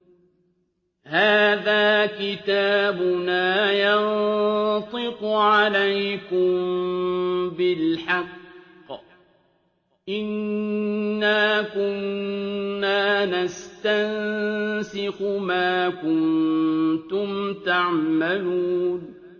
هَٰذَا كِتَابُنَا يَنطِقُ عَلَيْكُم بِالْحَقِّ ۚ إِنَّا كُنَّا نَسْتَنسِخُ مَا كُنتُمْ تَعْمَلُونَ